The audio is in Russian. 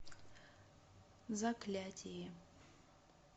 заклятие